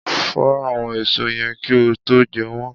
Fọ àwọn èso yẹn kí ó tó jẹ́ wọn.